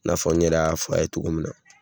N'a fɔ n yɛrɛ a fɔ a ye cogo min na